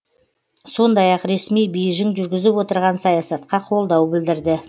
сондай ақ ресми бейжің жүргізіп отырған саясатқа қолдау білдірді